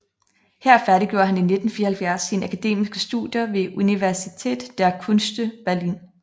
Her færdiggjorde han i 1974 sine akademiske studer ved Universität der Künste Berlin